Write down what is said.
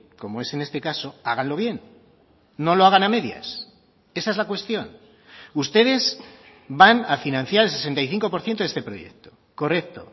como es en este caso háganlo bien no lo hagan a medias esa es la cuestión ustedes van a financiar el sesenta y cinco por ciento de este proyecto correcto